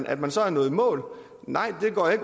at man så er nået i mål nej det går jeg